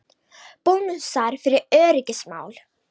Bónusar fyrir öryggismál